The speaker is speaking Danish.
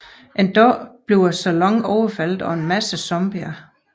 En dag bliver saloonen overfaldet af en masse zombier